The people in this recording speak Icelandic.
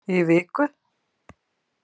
Í viku.